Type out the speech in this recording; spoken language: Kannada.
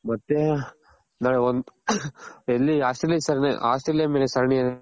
ಮತ್ತೆ ನಾಳೆ ಒಂದ್ ಎಲ್ಲಿ ಆಸ್ಟ್ರೇಲಿಯ ಸರಣಿ ಆಸ್ಟ್ರೇಲಿಯ ಮೇಲೆ ಸರಣಿ